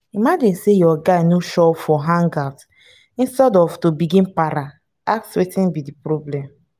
imagine sey your guy no show up for hangout instead of to begin para ask wetin be di problem